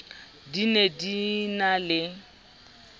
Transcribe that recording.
di ne di na le